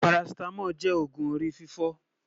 pàràcìtàmòl jé ọgùn òrí fìfò